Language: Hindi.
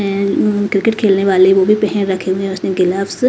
हैं उम्म क्रिकेट खेलने वाले वो भी पहन रखे हुए हैं उसने ग्लव्स ।